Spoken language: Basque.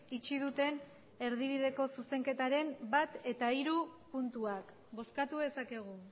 itxi duten erdibideko zuzenketaren bat eta hiru puntuak bozkatu dezakegu